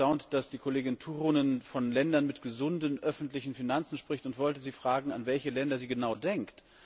Ich war ganz erstaunt, dass die Kollegin Turunen von Ländern mit gesunden öffentlichen Finanzen spricht, und wollte sie fragen, an welche Länder sie genau denkt.